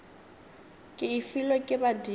ke e filwe ke badimo